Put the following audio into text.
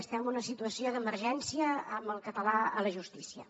estem en una situació d’emergència amb el català a la justícia